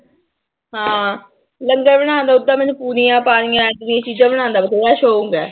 ਹਾਂ ਲੰਗਰ ਬਣਾਉਣ ਦਾ ਓਦਾਂ ਮੈਨੂੰ ਪੂਰੀਆਂ ਪਾਰੀਆਂ ਚੀਜ਼ਾਂ ਬਣਾਉਣ ਦਾ ਬਥੇਰਾ ਸ਼ੌਂਕ ਹੈ।